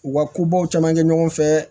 U ka kobaw caman kɛ ɲɔgɔn fɛ